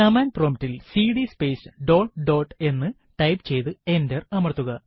command prompt ൽ CD space dot dot എന്ന് type ചെയ്തു എന്റർ അമർത്തുക